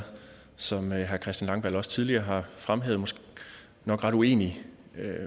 som herre christian langballe også tidligere har fremhævet nok ret uenige